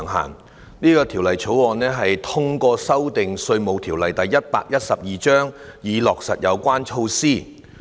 《2019年稅務條例草案》透過修訂《稅務條例》，以落實有關措施。